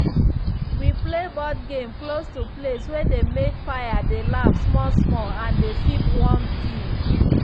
we play board game close to place way dem make fire dey laugh small small and dey sip warm tea.